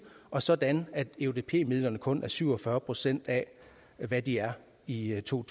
og sådan at eudp midlerne kun er syv og fyrre procent af hvad de er i i to